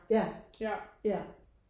Ja ja